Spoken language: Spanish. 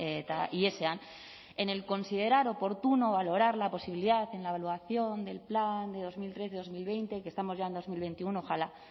eta ihesean en el considerar oportuno valorar la posibilidad en la evaluación del plan de dos mil trece dos mil veinte que estamos ya en dos mil veintiuno ojalá